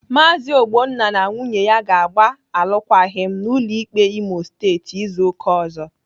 Maazi Ogbonna na nwunye ya ga-agba alụkwaghịm n'ụlọ ikpe Imo Steeti izu ụka ọzọ.